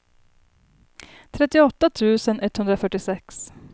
trettioåtta tusen etthundrafyrtiosex